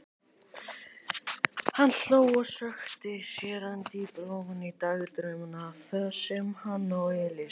Hann hló og sökkti sér enn dýpra ofan í dagdrauma þar sem hann og Elísa.